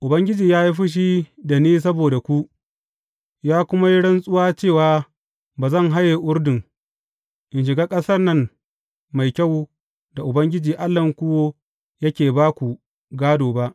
Ubangiji ya yi fushi da ni saboda ku, ya kuma yi rantsuwa cewa ba zan haye Urdun, in shiga ƙasan nan mai kyau da Ubangiji Allahnku yake ba ku gādo ba.